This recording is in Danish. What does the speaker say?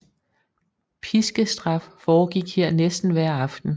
Piskestraf foregik her nærmest hver aften